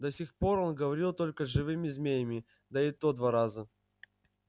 до сих пор он говорил только с живыми змеями да и то два раза